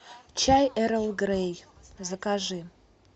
чай эрл грей закажи